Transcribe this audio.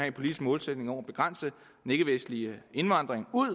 en politisk målsætning om at begrænse den ikkevestlige indvandring ud